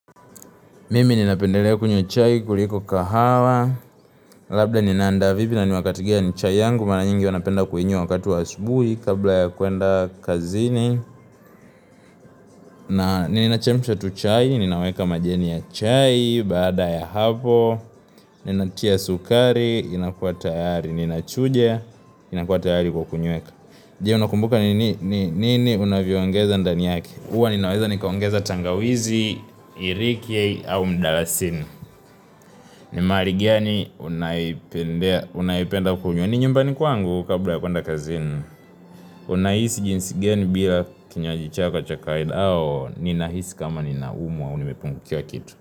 Mimi ninapendelea kunywa chai kuliko kahawa Labda ninaanda vipi na ni wakati gani chai yangu mara nyingi anapenda kuinywa wakati wa asubuhi kabla ya kuenda kazini na ninachemsha tu chai, ninaweka majani ya chai baada ya hapo, ninatia sukari, inakua tayari ninachuja, inakua tayari kwa kunyweka Je unakumbuka ni nini unavyoangeza ndani yake huwa ninaweza nikaongeza tangawizi, iriki au mdalasini ni mahali gani unaipenda kunywa ni nyumbani kwangu kabla ya kuenda kazini unahisi jinsi gani bila kinywaji chako cha kawaida ninahisi kama ninaumwa au nimepungukiwa kitu.